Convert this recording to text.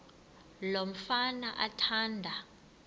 lo mfana athanda